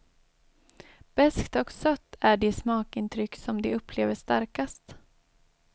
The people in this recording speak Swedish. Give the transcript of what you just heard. Beskt och sött är de smakintryck som de upplever starkast.